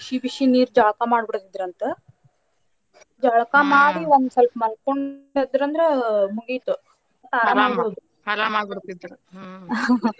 ಬಿಸಿ ಬಿಸಿ ನೀರ ಜಳಕಾ ಮಾಡಿ ಬಿಡ್ತಿದ್ರಂತ ಜಳಕಾ ಮಾಡಿ ಒಂದ ಸ್ವಲ್ಪ ಮಲ್ಕೊಂಡ್ ಎದ್ದರಂದ್ರ ಮುಗಿತ್ ಆರಾಮಿರೋದು .